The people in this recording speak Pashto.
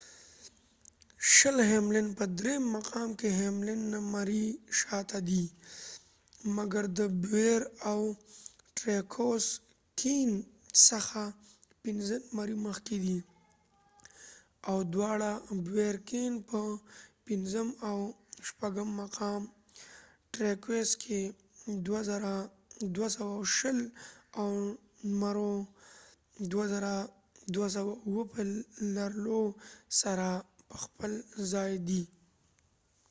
په درېم مقام کې ، هیملن hamlin شل نمری شاته دي ، مګر د بوير کېنbowyer kahneاو ټریوکس treuxڅخه پنځه نمری مخکې دي . دواړه بوير کېن bowyer kahne او ټریوکسtreux په پنځم او شپږم مقام کې 2,220 او نمرو 2,207 په لرلو سره په ځپل ځای دي